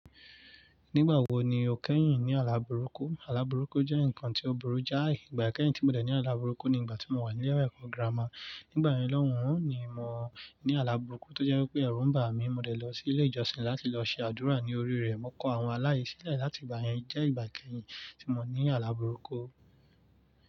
Nígbà wo ni o kẹ́yìn ní àlá burúkú? Àlá burúkú jẹ́ nǹkan tí ó burú jáì. Ìgbà kẹ́yìn tí mo dẹ̀ ní àlá burúkú ni ìgbà tí mo wà ní ilé ẹ̀kọ́ gírámà. Nígbà yẹn lọ́hùn, ni mo ní àlá burúkú tó jẹ́ wípé ẹ̀rù ń bà mí, mo dẹ̀ lọ sí ilé ìjọsìn láti lọ ṣe àdúrà ní orí rẹ̀. Mo kọ àwọn alá yii silẹ̀ láti ìgbà yẹn. O jẹ́ ìgbà kẹ́yìn tí mo ní àlá burúkú.